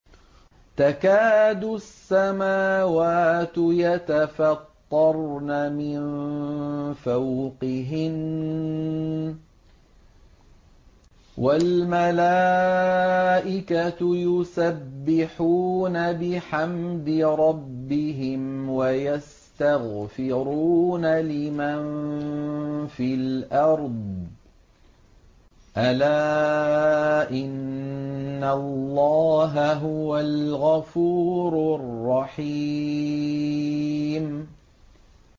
تَكَادُ السَّمَاوَاتُ يَتَفَطَّرْنَ مِن فَوْقِهِنَّ ۚ وَالْمَلَائِكَةُ يُسَبِّحُونَ بِحَمْدِ رَبِّهِمْ وَيَسْتَغْفِرُونَ لِمَن فِي الْأَرْضِ ۗ أَلَا إِنَّ اللَّهَ هُوَ الْغَفُورُ الرَّحِيمُ